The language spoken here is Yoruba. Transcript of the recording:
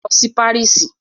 Lọ sí Paris!